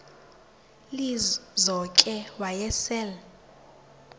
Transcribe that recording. lizo ke wayesel